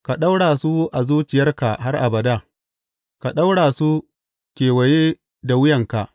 Ka ɗaura su a zuciyarka har abada; ka ɗaura su kewaye da wuyanka.